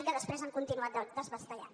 i que després han continuat desballestant